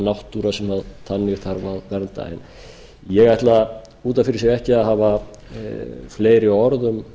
náttúra sem þannig þarf að vernda ég ætla út af fyrir sig ekki að hafa fleiri orð um